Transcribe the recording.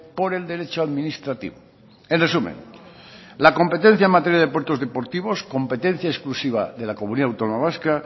por el derecho administrativo en resumen la competencia en materia de puertos deportivos competencia exclusiva de la comunidad autónoma vasca